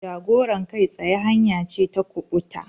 Jagorar kai tsaye hanya ce ta kubuta.